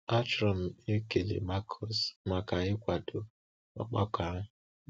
Achọrọ m ịkele Marcus maka ịkwado ọgbakọ ahụ.